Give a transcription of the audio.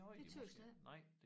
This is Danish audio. Det tøs jeg ikke